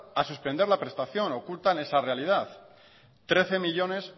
a suspender la prestación ocultan esa realidad trece millónes